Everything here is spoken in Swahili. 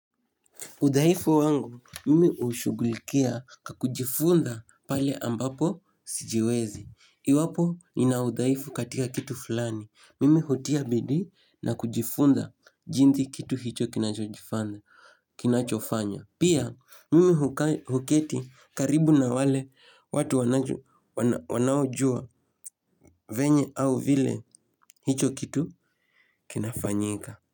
Udhaifu wangu mimi ushughulikia kwa kujifunga pale ambapo sijiwezi iwapo nina udhaifu katika kitu fulani Mimi hutia bidii na kujifunza jinsi kitu hicho kinachojifanya kinachofanya Pia mimi huketi karibu na wale watu wanaojua venye au vile hicho kitu kinafanyika.